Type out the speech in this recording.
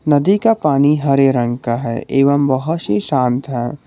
नदी का पानी हरे रंग का है एवं बहुत ही शांत है।